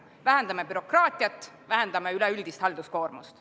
Vähendame bürokraatiat, vähendame üleüldist halduskoormust.